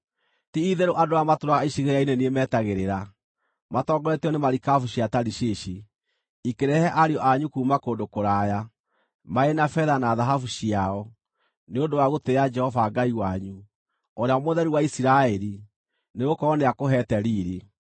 Ti-itherũ andũ arĩa matũũraga icigĩrĩra-inĩ nĩ niĩ metagĩrĩra; matongoretio nĩ marikabu cia Tarishishi, ikĩrehe ariũ anyu kuuma kũndũ kũraya, marĩ na betha na thahabu ciao nĩ ũndũ wa gũtĩĩa Jehova Ngai wanyu, Ũrĩa Mũtheru wa Isiraeli, nĩgũkorwo nĩakũheete riiri.